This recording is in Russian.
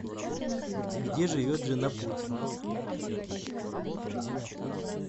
где живет жена путина